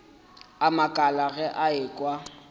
a makala ge a ekwa